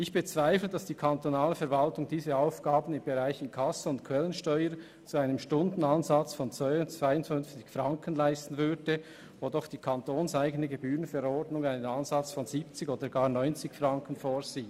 Ich bezweifle, dass die kantonale Verwaltung diese Aufgaben im Bereich Inkasso und Quellensteuer zu einem Stundenansatz von 52 Franken leisten würde, wo doch die kantonseigene Gebührenverordnung einen Ansatz von 70 oder gar 90 Franken vorsieht.